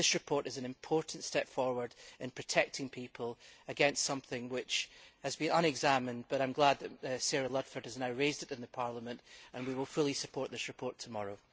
This report is an important step forward in protecting people against something which so far has been unexamined, but I am glad that Sarah Ludford had now raised it in Parliament and we will fully support this report tomorrow.